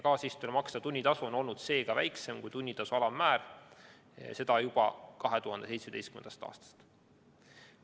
Kaasistujale makstav tunnitasu on olnud seega väiksem kui tunnitasu alammäär, ja seda juba 2017. aastast.